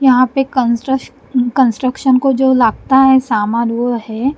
यहां पे कंस्ट्र कंस्ट्रक्शन को जो लागता है सामान वो है।